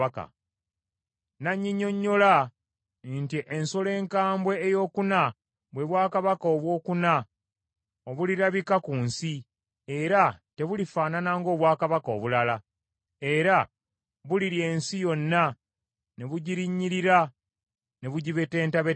“N’annyinnyonnyola nti, ‘Ensolo enkambwe eyokuna bwe bwakabaka obwokuna obulirabika ku nsi, era tebulifaanana ng’obwakabaka obulala; era bulirya ensi yonna, ne bugirinnyirira ne bugibetentabetenta.